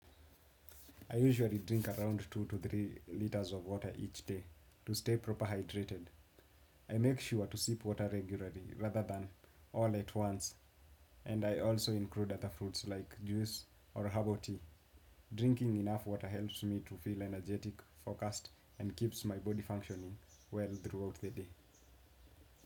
I usually drink around two to three liters of water each day to stay proper hydrated. I make sure to sip water regularly rather than all at once and I also include other fruits like juice or herbal tea. Drinking enough water helps me to feel energetic, focused and keeps my body functioning well throughout the day.